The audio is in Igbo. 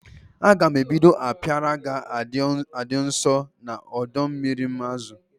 A ga-ebido apiary ga-adi nso na ọdọ mmiri azụ m